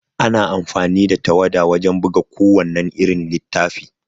Ana amfani da tawada wajan buga ku wannan irin littafi